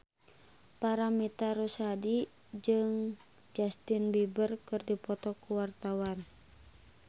Paramitha Rusady jeung Justin Beiber keur dipoto ku wartawan